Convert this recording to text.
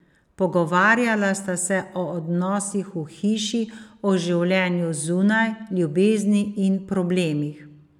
Pogovarjala sta se o odnosih v hiši, o življenju zunaj, ljubezni in problemih.